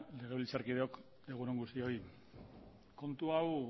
legebiltzarkideok egun on guztioi kontu hau